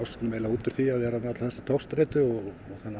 út úr því að vera með alla þessa togstreitu og